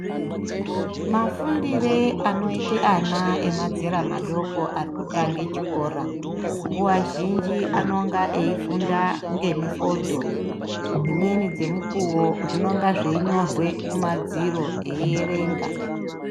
Mafundire anoite ana emazera madoko arikutange chikora nguwa zhinji anonga eifunda ngemifodho dzimweni dzemukuwo zvinonga zveinyorwe kumadziro eierenga.